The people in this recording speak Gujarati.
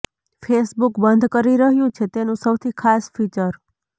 ફેસબુક બંધ કરી રહ્યું છે તેનું સૌથી ખાસ ફીચર